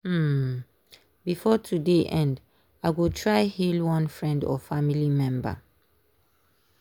um before today end i go try hail one friend or family member.